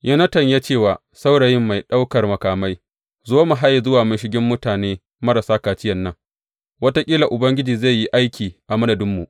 Yonatan ya ce wa saurayin mai ɗaukan makamai, Zo mu haye zuwa mashigin mutane marasa kaciyan nan, wataƙila Ubangiji zai yi aiki a madadinmu.